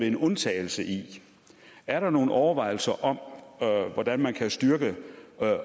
en undtagelse er der nogle overvejelser om hvordan man kan styrke